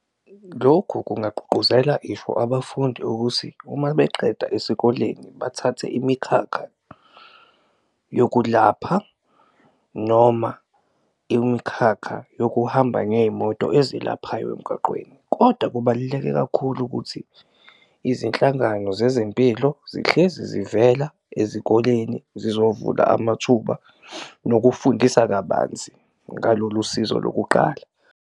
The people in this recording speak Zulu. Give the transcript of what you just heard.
Lokhu kungagqugquzela isho abafundi ukuthi uma beqeda esikoleni bathathe imikhakha yokulapha noma imikhakha yokuhamba ngey'moto ezilaphayo emgaqweni. Koda kubaluleke kakhulu ukuthi izinhlangano zezempilo zihlezi zivela ezikoleni, zizovula amathuba nokufundisa kabanzi ngalolu sizo lokuqala.